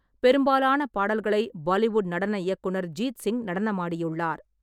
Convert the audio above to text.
பெரும்பாலான பாடல்களை பாலிவுட் நடன இயக்குனர் ஜீத் சிங் நடனமாடியுள்ளார்.